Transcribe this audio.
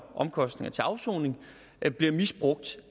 omkostninger til afsoning bliver misbrugt